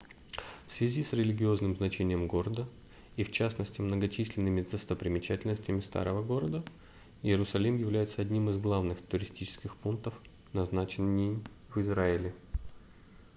в связи с религиозным значением города и в частности многочисленными достопримечательностями старого города иерусалим является одним из главных туристических пунктов назначений в израиле